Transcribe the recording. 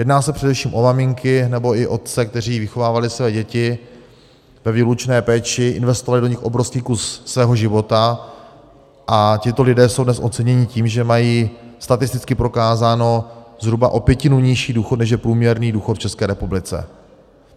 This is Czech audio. Jedná se především o maminky nebo i otce, kteří vychovávali své děti ve výlučné péči, investovali do nich obrovský kus svého života, a tito lidé jsou dnes oceněni tím, že mají statisticky prokázán zhruba o pětinu nižší důchod, než je průměrný důchod v České republice.